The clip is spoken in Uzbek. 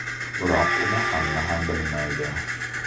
Biroq uni hamma ham bilmaydi.